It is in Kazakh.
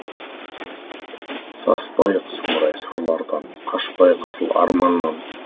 саспайық сұмырай сұрлардан қашпайық асыл арманнан